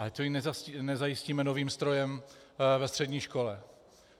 A tu jim nezajistíme novým strojem ve střední škole.